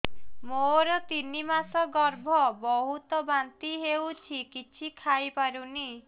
ମୋର ତିନି ମାସ ଗର୍ଭ ବହୁତ ବାନ୍ତି ହେଉଛି କିଛି ଖାଇ ପାରୁନି